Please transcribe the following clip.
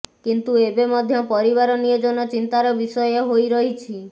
କିନ୍ତୁ ଏବେ ମଧ୍ୟ ପରିବାର ନିୟୋଜନ ଚିନ୍ତାର ବିଷୟ ହୋଇ ରହିଛି